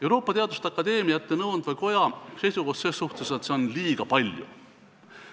Euroopa teaduste akadeemiate nõuandva koja seisukoht on, et seda on liiga palju.